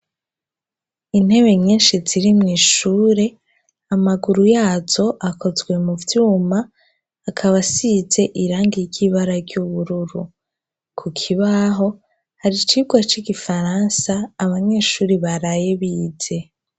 Intebe nyenshi zirimwo ishure amaguru yazo akozwe mu vyuma akaba asize irangi ry'ibara ry'ubururu ku kibaho hari icirwa c'igifaransa abanyeshuri baraye bize.